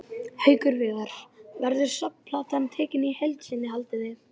Haukur Viðar: Verður safnplatan tekin í heild sinni haldið þið?